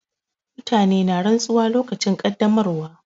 Mutane na rantsuwa lokacin ƙaddamarwa.